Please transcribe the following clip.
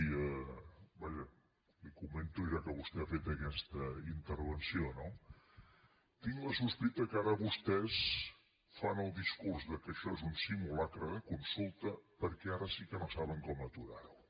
vaja la hi comento ja que vostè ha fet aquesta intervenció no tinc la sospita que ara vostès fan el discurs que això és un simulacre de consulta perquè ara sí que no saben com aturar ho